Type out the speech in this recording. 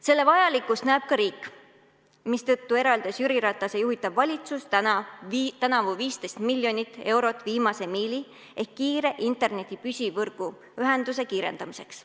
Selle vajalikkust näeb ka riik, mistõttu eraldas Jüri Ratase juhitav valitsus tänavu 15 miljonit eurot viimase miili ehk kiire interneti püsivõrguühenduse kiirendamiseks.